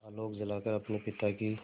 आलोक जलाकर अपने पिता की